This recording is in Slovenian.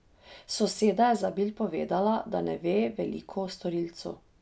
Soseda je za Bild povedala, da ne ve veliko o storilcu.